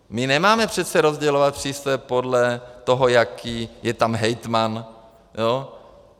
My nemáme přece rozdělovat přístroje podle toho, jaký je tam hejtman.